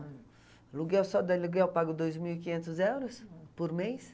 Aluguel, só de aluguel eu pago dois mil e quinhentos euros por mês.